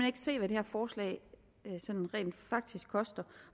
ikke se hvad det her forslag sådan rent faktisk koster